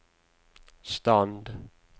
stand